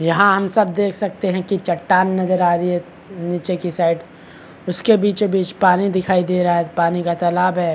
यहाँ हम सब देख सकते है की चटान नजर आ रही है नीचे की साइड उसके बीचो बीच पानी दिखाई दे रहा है पानी का तालाब है।